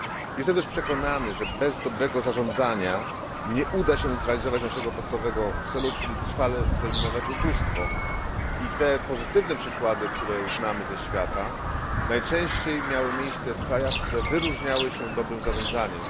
Jestem też przekonany, że bez dobrego zarządzania nie uda się nam zrealizować naszego podstawowego celu, czyli trwale wyeliminować ubóstwa, a te pozytywne przykłady, które znamy ze świata, najczęściej miały miejsce w krajach, które wyróżniały się dobrym zarządzaniem.